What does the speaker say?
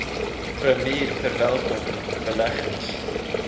premier verwelkom beleggings